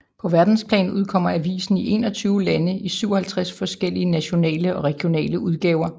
På verdensplan udkommer avisen i 21 lande i 57 forskellige nationale og regionale udgaver